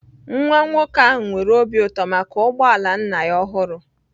Nwa nwoke ahụ nwere obi ụtọ maka ụgbọ ala nna ya ọhụrụ